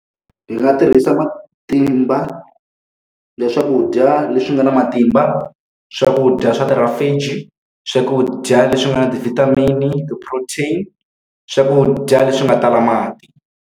Ndzi nga tirhisa matimba ya swakudya leswi nga na matimba, swakudya swa , swakudya leswi nga na ti-vitamin-i, ti-protein-i, swakudya leswi nga tala mati.